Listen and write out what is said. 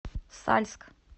сальск